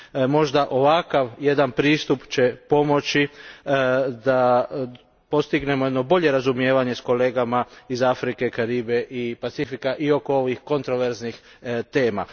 Možda ovakav jedan pristup će pomoći da postignemo jedno bolje razumijevanje s kolegama iz Afrike, Kariba i Pacifika, oko kontroverznih tema.